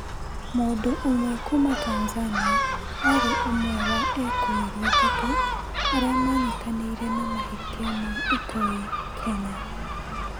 Mũndu ũmwe kuma Tanzania arĩ ũmwe wa ekũĩrwo atatu aria maranyitanire na mahitia ma ũtoi Kenya.